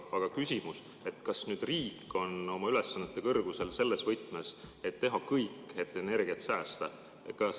Aga küsimus on, kas riik on oma ülesannete kõrgusel selles võtmes, et teha kõik, et energiat säästa.